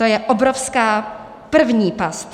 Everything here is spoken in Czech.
To je obrovská první past.